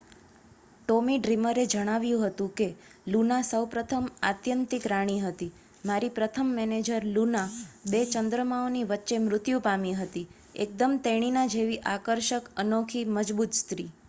"Tommy ડ્રીમરે જણાવ્યું હતું કે "લુના સૌપ્રથમ આત્યંતિક રાણી હતી. મારી પ્રથમ મેનેજર લુના બે ચંદ્રમાઓની વચ્ચે મૃત્યુ પામી હતી. એકદમ તેણીના જેવી આકર્ષક અનોખી. મજબૂત સ્ત્રી.""